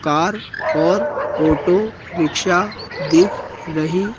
car और auto rickshaw दिख रही--